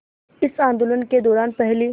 इस आंदोलन के दौरान पहली